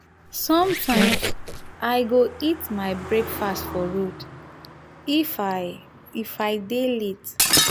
sometimes i go eat my breakfast for road if um i i dey late.